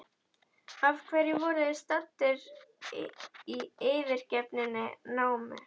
Af hverju voru þeir staddir í yfirgefinni námu?